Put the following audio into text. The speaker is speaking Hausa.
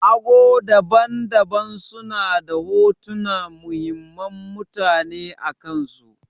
Ago daban-daban suna da hotunan muhimman mutane akansu.